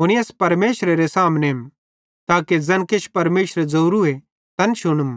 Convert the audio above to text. हुनी अस परमेशरेरे सामनेम ताके ज़ैन किछ परमेशरे ज़ोरू तैन शुनम